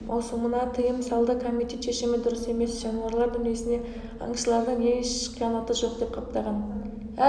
маусымына тыйым салды комитет шешімі дұрыс емес жануарлар дүниесіне аңшылардың еш қиянаты жоқ деп қаптаған